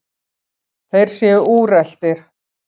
Þeir séu úreltir.